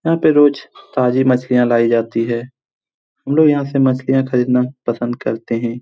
यहाँ पे रोज ताजी मछली लाई जाती है। हम लोग यहां से मछलियां खरीदना पसंद करते हैं।